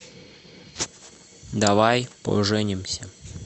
давай поженимся